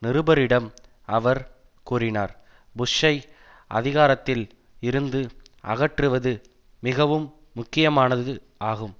நிருபரிடம் அவர் கூறினார் புஷ்ஷை அதிகாரத்தில் இருந்து அகற்றுவது மிகவும் முக்கியமானது ஆகும்